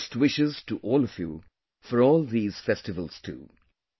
Many best wishes to all of you for all these festivals too